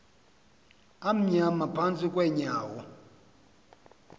amnyama phantsi kweenyawo